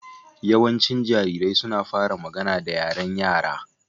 Yawancin jarirai suna fara magana da yaren Yara